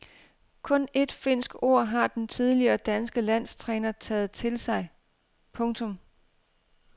Kun ét finsk ord har den tidligere danske landstræner taget til sig. punktum